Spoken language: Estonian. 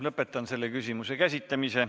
Lõpetan selle küsimuse käsitlemise.